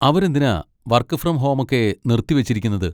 അവരെന്തിനാ work from ഹോമൊക്കെ നിർത്തിവെച്ചിരിക്കുന്നത്?